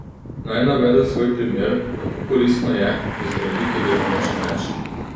Naj navedem svoj primer, kako koristno je, da zdravniki delamo čim več.